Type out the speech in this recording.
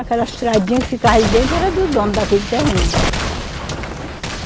Aquela estradinha que ficava ali dentro era do dono daquele terreno.